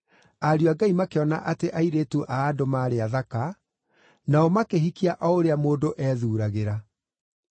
ariũ a Ngai makĩona atĩ airĩtu a andũ maarĩ athaka, nao makĩhikia o ũrĩa mũndũ ethuuragĩra.